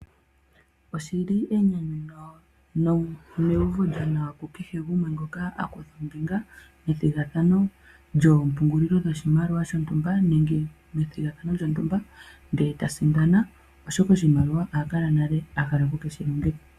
Oshili enyanyu neuvo lyonawa kukehe gumwe ngoka a kutha ombinga methigathano lyoompungulilo dhoshimaliwa shontumba, nenge methigathano lyontumba, ndele ta sindana, oshoka oshimaliwa oha kala nale a hala oku keshi longitha.